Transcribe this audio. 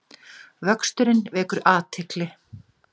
Vöxturinn vekur athygli